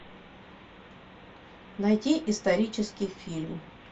найти исторический фильм